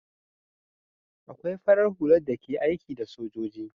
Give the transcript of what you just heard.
Akwai farar hula da ke aiki da sojoji